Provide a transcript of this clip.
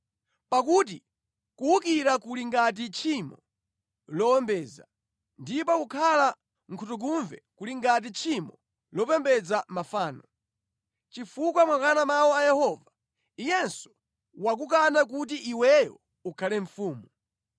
Pakuti kuwukira kuli ngati tchimo lowombeza, ndipo kukhala nkhutukumve kuli ngati tchimo lopembedza mafano. Chifukwa mwakana mawu a Yehova. Iyenso wakukana kuti iweyo ukhale mfumu.”